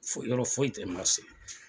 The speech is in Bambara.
Foyi, yɔrɔ foyi tɛ marse.